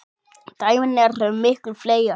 Dæmin eru miklu fleiri.